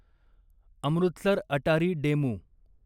Amritsar Attari DEMU